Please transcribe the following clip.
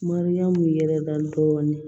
Mariyamu yɛrɛ da dɔɔnin